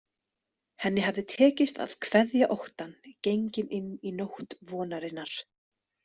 Henni hafði tekist að kveðja óttann, gengin inn í nótt vonarinnar.